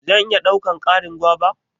zan iya daukan Karin guava?